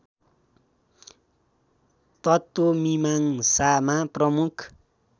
तत्त्वमीमाङ्सामा प्रमुख